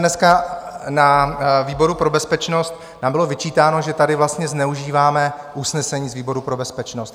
Dneska na výboru pro bezpečnost nám bylo vyčítáno, že tady vlastně zneužíváme usnesení z výboru pro bezpečnost.